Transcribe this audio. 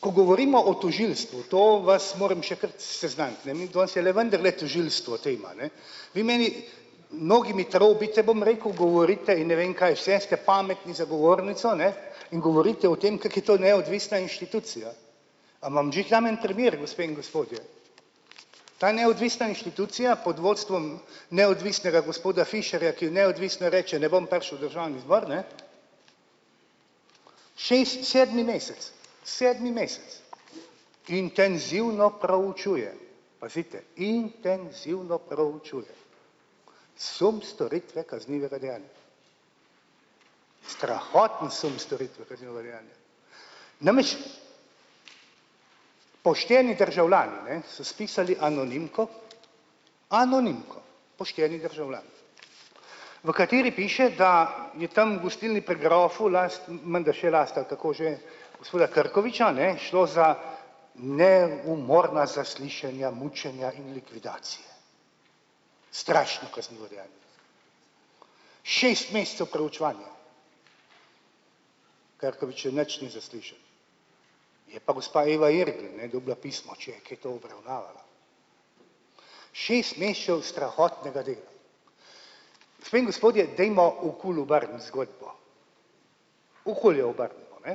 Ko govorimo o tožilstvu, to vas moram še kar seznaniti, ne, mi danes je le vendarle tožilstvo tema, ne, vi meni mnogi mi trobite, bom rekel, govorite in ne vem kaj vse, ste pametni za govornico, ne, in govorite o tem, kako je to neodvisna inštitucija, a vam že dam en primer, gospe in gospodje, ta neodvisna inštitucija pod vodstvom neodvisnega gospoda Fišerja, ki neodvisno reče: "Ne bom prišel v državni zbor, ne." Šest, sedmi mesec, sedmi mesec intenzivno proučuje, pazite, intenzivno proučuje sum storitve kaznivega dejanja. Strahotni sum storitve kaznivega dejanja, namreč, pošteni državljani, ne, so spisali anonimko, anonimko, pošteni državljani, v kateri piše, da je tam v gostilni Pri grofu last menda še last ali kako že gospoda Krkoviča, a ne, šlo za neumorna zaslišanja mučenja in likvidacije. Strašno kaznivo dejanje, šest mesecev proučevanja, Krkoviča nič ni za slišati, je pa gospa Eva Irgl ne dobila pismo, če je kaj obravnavala. Šest mesecev strahotnega dela. Gospe in gospodje, dajmo okoli obrniti zgodbo, okoli jo obrnimo, ne,